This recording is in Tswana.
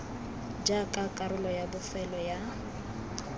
jaaka karolo ya bofelo ya